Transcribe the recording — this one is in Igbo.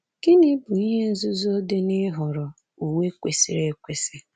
Gịnị bụ ihe nzuzo dị n’ịhọrọ uwe kwesiri ekwesị?